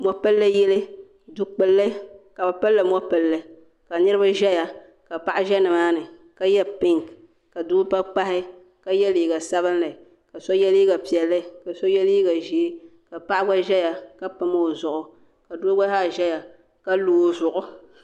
Mopilli yili dukpulli ka bɛ pili li mɔ'pilli ka niriba ʒeya ka paɣa ʒe nimaani ka ye ye pinki ka doo gba pahi ka ye liiga sabinli ka so ye liiga piɛlli ka so ye liiga ʒee ka paɣa gba ʒeya ka pam o zuɣu ka doo gba zaa ʒeya ka lo o zuɣu.